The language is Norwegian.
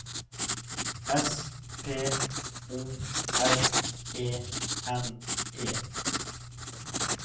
S P O R E N E